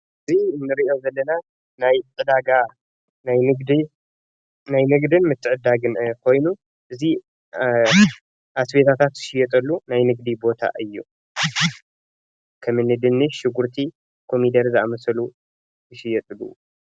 እዚ ንሪኦ ዘለና ናይ ዕዳጋ ናይ ንግድን ምትዕድዳግን ኮይኑ እዙይ ኣስቤዛታት ዝሽየጠሉ ናይ ንግዲ ቦታ እዩ ። ከም እኒ ድንች፣ ሽጉርቲ፣ ኮሚደረ ዝኣመሰሉ ዝሽየጠሉ እዩ።